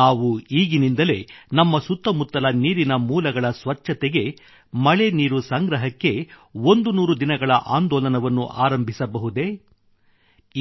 ನಾವು ಈಗಿನಿಂದಲೇ ನಮ್ಮ ಸುತ್ತಮುತ್ತಲ ನೀರಿನ ಮೂಲಗಳ ಸ್ವಚ್ಛತೆಗೆ ಮಳೆ ನೀರು ಸಂಗ್ರಹಕ್ಕೆ 100 ದಿನಗಳ ಆಂದೋಲನವನ್ನು ಆರಂಭಿಸಬಹುದೇ